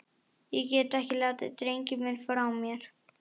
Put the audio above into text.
Ég get ekki látið drenginn minn frá mér!